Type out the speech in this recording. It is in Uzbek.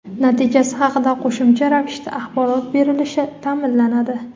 natijasi haqida qo‘shimcha ravishda axborot berilishi ta’minlanadi.